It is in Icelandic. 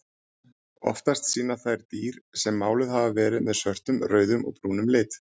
Oftast sýna þær dýr sem máluð hafa verið með svörtum, rauðum og brúnum lit.